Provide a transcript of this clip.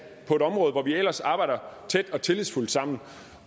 på et område hvor vi ellers arbejder tæt og tillidsfuldt sammen